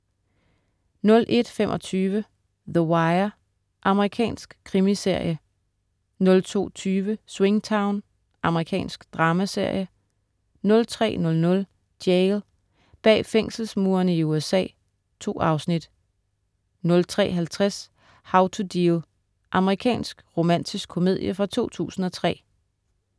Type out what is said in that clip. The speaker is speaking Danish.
01.25 The Wire. Amerikansk krimiserie 02.20 Swingtown. Amerikansk dramaserie 03.00 Jail. Bag fængselsmurene i USA. 2 afsnit 03.50 How to Deal. Amerikansk romantisk komedie fra 2003